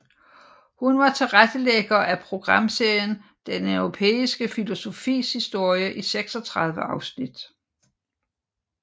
Hun var tilrettelægger af programserien Den europæiske filosofis historie i 36 afsnit